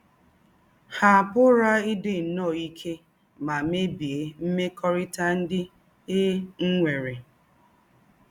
Há pụ̀rà ídí nnọọ íké mà mèbíé mmékọ́rítà ndí́ é nwèrè.